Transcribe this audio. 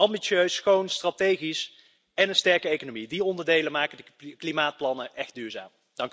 Ambitieus, schoon, strategisch en een sterke economie die onderdelen maken de klimaatplannen echt duurzaam.